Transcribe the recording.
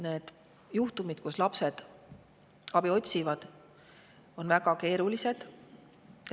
Need juhtumid, kus lapsed abi otsivad, on väga keerulised.